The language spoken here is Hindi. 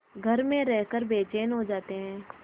घर में रहकर बेचैन हो जाते हैं